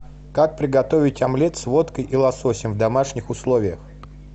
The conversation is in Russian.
как приготовить омлет с водкой и лососем в домашних условиях